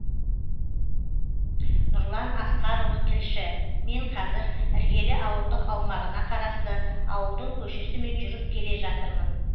нұрлан асқарұлы тілші мен қазір іргелі ауылдық аумағына қарасты ауылдың көшесімен жүріп келе жатырмын